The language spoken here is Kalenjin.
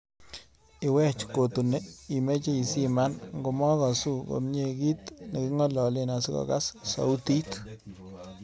Iwech kotuni imeche isiman ngomagasu komnyei kiit negingololen asigogaas sautit